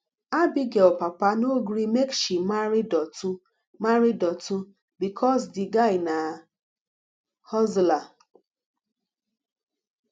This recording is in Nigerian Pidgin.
abigail papa no gree make she marry dotun marry dotun because the guy na hustler